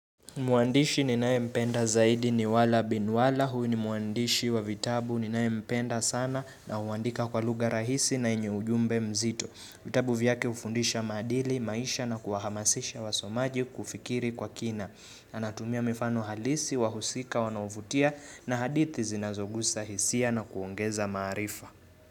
Muandishi ninanaye mpenda zaidi ni wala binwala, huu ni muandishi wa vitabu ninaye mpenda sana na huandika kwa lugha rahisi na enye ujumbe mzito. Vitabu vyake hufundisha maadili, maisha na kuwahamasisha wasomaji kufikiri kwa kina. Anatumia mifano halisi, wahusika, wanaovutia na hadithi zinazogusa hisia na kuongeza maarifa.